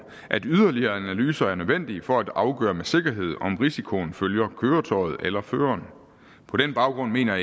at yderligere analyser er nødvendige for at afgøre med sikkerhed om risikoen følger køretøjet eller føreren på den baggrund mener